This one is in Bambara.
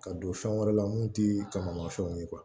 Ka don fɛn wɛrɛ la mun ti kamamafɛnw ye